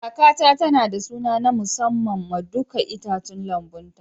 Kakata tana da suna na musamman ma dukan itatuwan lambun ta.